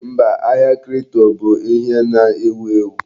Mba, ahia kripto bụ ihe na-ewu.